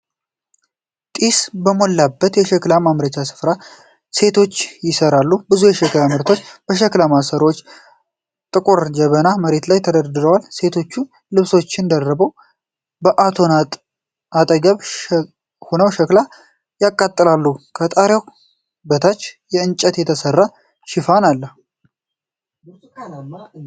ጢስ በሞላበት የሸክላ ማምረቻ ስፍራ ሴቶች ይሰራሉ። ብዙ የሸክላ ምርቶች፣ የሸክላ ማሰሮዎችና ጥቁር ጀበናዎች መሬት ላይ ተደርድረዋል። ሴቶች ልብሶችን ደርበው በእቶን አጠገብ ሆነው ሸክላ ያቃጥላሉ። ፣ ከጣሪያው በታች ከእንጨት የተሰራ ሽፋን አለ።